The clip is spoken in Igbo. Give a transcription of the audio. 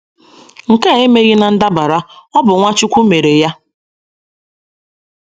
Nke a emeghị ná ndabara; ọ bụ Nwachukwu mere ya.